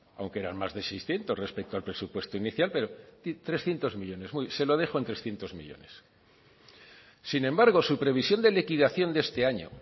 aunque eran más de seiscientos respecto al presupuesto inicial pero trescientos millónes se lo dejo en trescientos millónes sin embargo su previsión de liquidación de este año